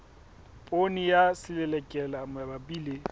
poone ya selelekela mabapi le